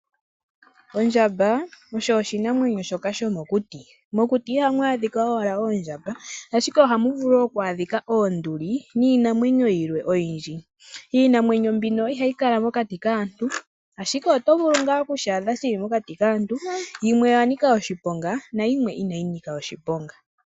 Ondjamba osho oshinamwenyo shoka shomokuti. Mokuti ihamu adhika owala oondjamba ashike ohamu vulu woo okwaadhika oonduli niinamwenyo yilwe oyindji. Iinamwenyo mbino ihaya kala mokati kaantu ashike oto vulu ngaa okushi adha shili mokati kaantu, yimwe oya nika oshiponga nayimwe inayi nika oshiponga.